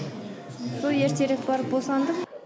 сол ертерек барып босандым